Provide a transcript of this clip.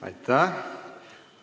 Aitäh!